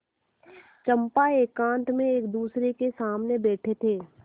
चंपा एकांत में एकदूसरे के सामने बैठे थे